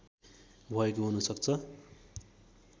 भएको हुन सक्छ